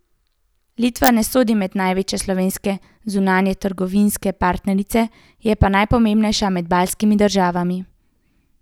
Litva ne sodi med največje slovenske zunanjetrgovinske partnerice, je pa najpomembnejša med baltskimi državami.